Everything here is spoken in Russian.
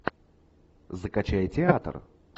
закачай театр